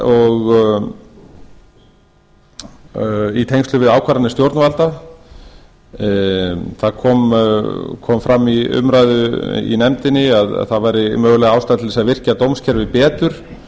og í tengslum við ákvarðanir stjórnvalda það kom fram í umræðu í nefndinni að það væri möguleg ástæða til að virkja dómskerfið betur